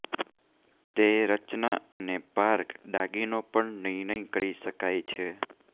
તે રચના અને પાર્ક દાગીનો પર નિર્ણય કરી શકાય છે